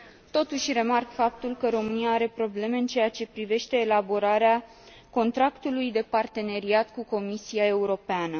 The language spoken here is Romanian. Totuși, remarc faptul că România are probleme în ceea ce privește elaborarea contractului de parteneriat cu Comisia Europeană.